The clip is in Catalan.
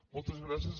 moltes gràcies